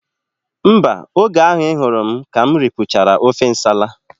Mba, oge ahụ I hụrụ m ka m ripụchara ofe nsala